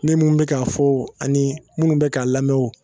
Ne mun be k'a fɔ ani munnu be k'a lamɛn o